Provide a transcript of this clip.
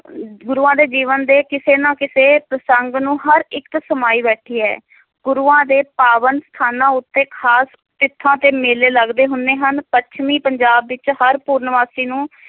ਗੁਰੂਆਂ ਦੇ ਜੀਵਨ ਦੇ ਕਿਸੇ ਨਾ ਕਿਸੇ ਪ੍ਰਸੰਗ ਨੂੰ ਹਰ ਇਕ ਸਮਾਈ ਬੈਠੀ ਹੈ ਗੁਰੂਆਂ ਦੇ ਪਾਵਨ ਸਥਾਨਾਂ ਉੱਤੇ ਖਾਸ ਤੇ ਮੇਲੇ ਲੱਗਦੇ ਹੁੰਦੇ ਹਨ ਪੱਛਮੀ ਪੰਜਾਬ ਵਿਚ ਹਰ ਪੂਰਨਮਾਸ਼ੀ ਨੂੰ